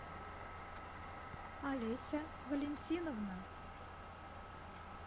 олеся валентиновна